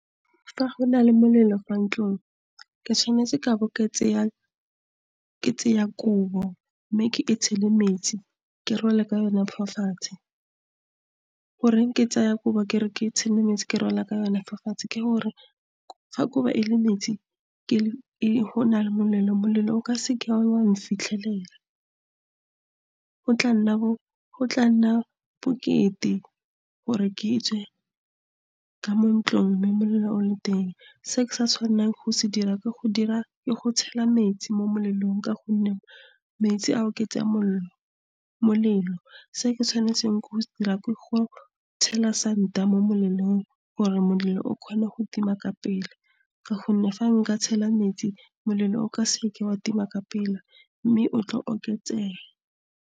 Fa go na le molelo fa ntlong, ke tshwanetse ka bo ke tseya kobo mme ke e tshele metsi, ke rwale ka yona fa fatshe. Goreng ke tsaya kobo ke re ke tshele metsi ke rwala ka yone mofatshe ke gore, fa kobo e le metsi ke go na le molelo, molelo o ka se ke wa mfitlhelela. Go tla nna bokete, gore ke tswe ka mo ntlong, mme molelo o le teng. Se ke sa tshwanelang go se dira ke go tshela metsi mo melelong ka gonne metsi a oketsa molelo. Se ke tshwanetseng ke go se dira, ke go ke tshela santa mo molelong gore molelo o kgona go tima ka pele ka gonne fa nka tshela metsi molelo o ka se ke wa tima ka pele, mme o tlo oketsega.